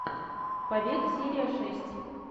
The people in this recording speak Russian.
побег серия шесть